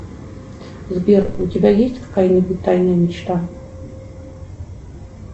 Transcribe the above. сбер у тебя есть какая нибудь тайная мечта